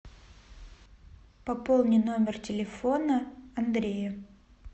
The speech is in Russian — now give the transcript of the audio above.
пополни номер телефона андрея